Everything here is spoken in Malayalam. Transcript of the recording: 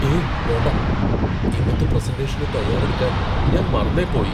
ഏയ് വേണ്ട! ഇന്നത്തെ പ്രസന്റേഷന് തയ്യാറെടുക്കാൻ ഞാൻ മറന്നേ പോയി .